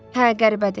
Hə, qəribədir.